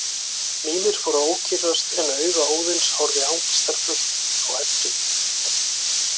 Mímir fór að ókyrrast en auga Óðins horfði angistarfullt á Eddu.